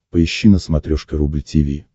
поищи на смотрешке рубль ти ви